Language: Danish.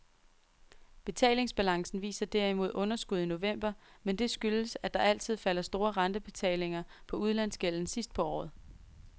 Betalingsbalancen viser derimod underskud i november, men det skyldes at der altid falder store rentebetalinger på udlandsgælden sidst på året.